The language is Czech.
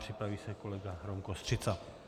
Připraví se kolega Rom Kostřica.